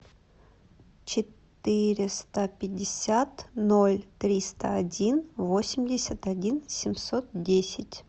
четыреста пятьдесят ноль триста один восемьдесят один семьсот десять